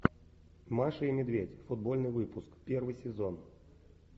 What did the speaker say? маша и медведь футбольный выпуск первый сезон